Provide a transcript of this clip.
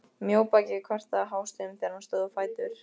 Mjóbakið kvartaði hástöfum þegar hann stóð á fætur.